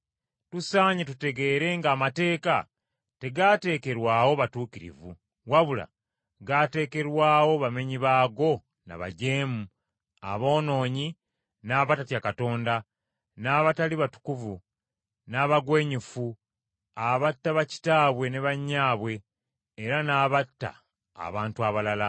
Tusaanye tutegeere nga Amateeka tegaateekerwawo batuukirivu, wabula gaateekerwawo bamenyi baago na bajeemu, aboonoonyi, n’abatatya Katonda, n’abatali batukuvu, n’abagwenyufu, abatta bakitaabwe ne bannyaabwe, era n’abatta abantu abalala,